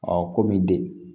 kɔmi de